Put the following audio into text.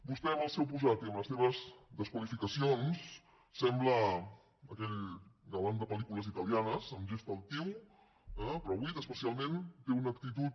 vostè amb el seu posat i amb les seves desqualificacions sembla aquell galant de pel·lícules italianes amb gest altiu eh però avui especialment té una actitud